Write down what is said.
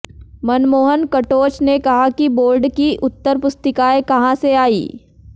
मनमोहन कटोच ने कहा कि बोर्ड की उत्तरपुस्तिकाएं कहां से आईं